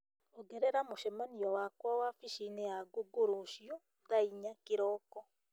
ongerera mũcemanio wakwa wabici-inĩ ya google rũciũ thaa inya kĩroko